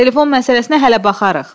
Telefon məsələsinə hələ baxarıq.